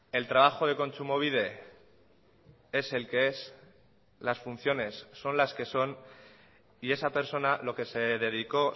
el trabajo de kontsumobide es el que es las funciones son las que son y esa persona lo que se dedicó